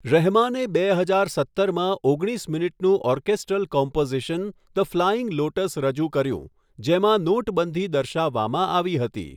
રહેમાને બે હજાર સત્તરમાં ઓગણીસ મિનિટનું orchestral composition 'the Flying Lotus' રજૂ કર્યું, જેમાં નોટબંધી દર્શાવવામાં આવી હતી.